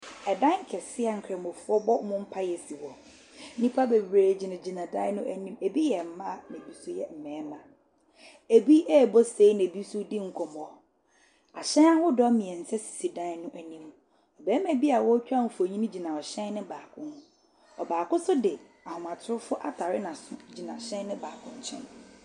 Ɛdan kɛseɛ a Nkramofoɔ bɔ mu mpaeɛ si hɔ. Nnipa bebree gyinagyina dan no anim. Ɛbi yɛ mmaa na ɛbi nso yɛ mmarima. Ɛbi rebɔ se na ɛbi nso redi nkɔmmɔ. Ahyɛn ahodoɔ mmeɛnsa si dan no anim. Ɔbarima bi a ɔretɛ mfonin gyina hyɛn no baako ho. Baako nso de ahomatorofoɔ atare n'aso gyina ɛhyɛn no baako nkyɛn.